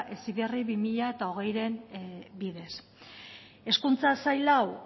heziberri bi mila hogeiren bidez hezkuntza sail hau